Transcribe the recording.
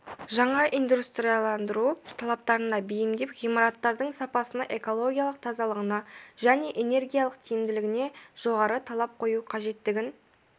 жаңа индустрияландыру талаптарына бейімдеп ғимараттардың сапасына экологиялық тазалығына және энергиялық тиімділігіне жоғары талап қою қажеттігін